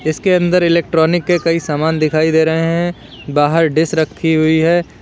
इसके अंदर इलेक्ट्रॉनिक के कई सामान दिखाई दे रहे हैं बाहर डिश रखी हुई है।